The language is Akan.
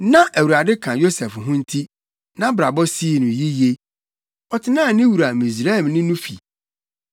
Na Awurade ka Yosef ho nti, nʼabrabɔ sii no yiye. Ɔtenaa ne wura Misraimni no fi.